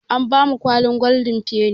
An bamu kwalin goldin feni